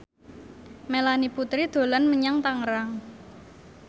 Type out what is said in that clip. Melanie Putri dolan menyang Tangerang